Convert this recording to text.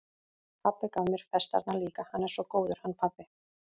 Pabbi gaf mér festarnar líka, hann er svo góður, hann pabbi.